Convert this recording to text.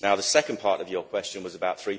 The second part of your question was about